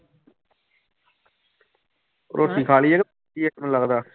ਰੋਟੀ ਖਾ ਲਈ ਹੈ ਕਿ ਲੱਗਦਾ।